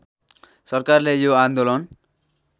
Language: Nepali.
सरकारले यो आन्दोलन